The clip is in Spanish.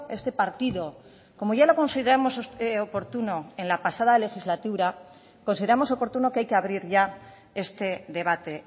este partido como ya lo consideramos oportuno en la pasada legislatura consideramos oportuno que hay que abrir ya este debate